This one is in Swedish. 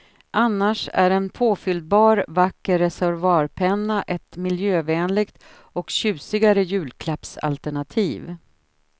Annars är en påfyllbar vacker reservoarpenna ett miljövänligt och tjusigare julklappsalternativ.